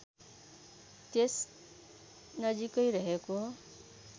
त्यस नजिकै रहेको